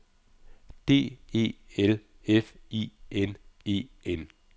D E L F I N E N